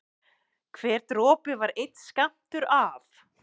Hver dropi var einn skammtur af